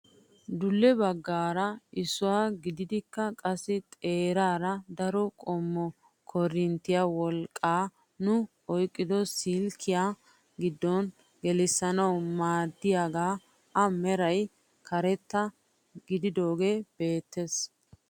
Dulle baggay issuwaa gidikokka qassi xeeraara daro qommo korinttiyaa wolaqqaa nu oyqqido silkkiyaa giddo gelissanawu maaddiyaaga a meray karetta gididoogee beettees.